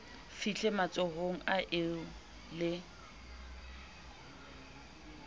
fihle matsohong a eo le